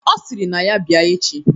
Ọ sịrị na ya bịa echi